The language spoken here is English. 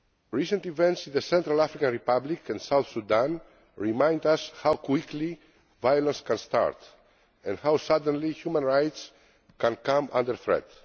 Recent events in the Central African Republic and South Sudan remind us how quickly violence can start and how suddenly human rights can come under threat.